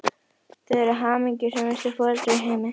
Þau eru hamingjusömustu foreldrar í heimi!